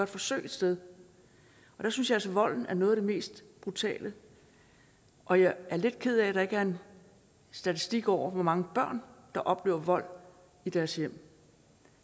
forsøg et sted og der synes jeg altså at volden er noget af det mest brutale og jeg er lidt ked af at der ikke er en statistik over hvor mange børn der oplever vold i deres hjem